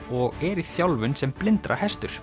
og er í þjálfun sem